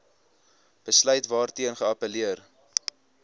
besluit waarteen geappelleer